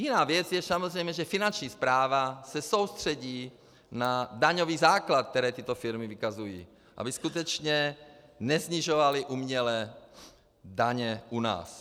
Jiná věc je samozřejmě, že Finanční správa se soustředí na daňový základ, který tyto firmy vykazují, aby skutečně nesnižovaly uměle daně u nás.